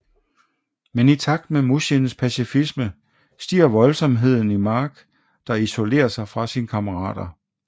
Men i takt med Mushins pacifisme stiger voldsomheden i Mark der isolerer sig fra sine kammerater